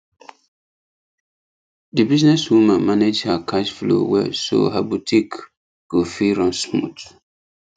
the business woman manage her cash flow well so her boutique go fit run smooth